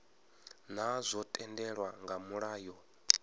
naa zwo tendelwa nga mulayo